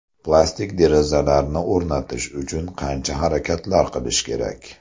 Plastik derazalarni o‘rnatish uchun qancha harakatlar qilish kerak?